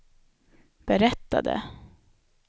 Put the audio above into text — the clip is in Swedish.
berättade